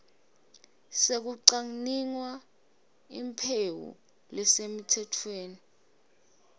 sekucwaninga imbewu lesisemtsetfweni